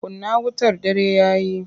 Kunna wutar dare ya yi!